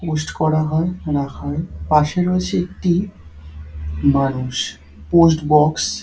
Post করা হয় কেনা হয় পাশে রয়েছে একটি মানুষ পোস্ট বক্স ।